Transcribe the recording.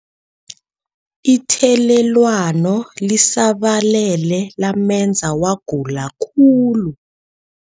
Ithelelwano lisabalele lamenza wagula khulu.